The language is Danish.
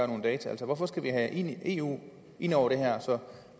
nogle data altså hvorfor skal vi have eu ind over det her så